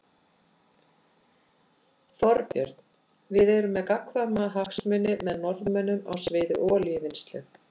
Þorbjörn: Við erum með gagnkvæma hagsmuni með Norðmönnum á sviði olíuvinnslu?